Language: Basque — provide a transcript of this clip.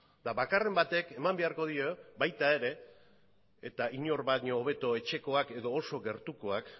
eta bakarren batek eman beharko dio baita ere eta inor baino hobeto etxekoak edo oso gertukoak